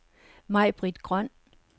Maibritt Grøn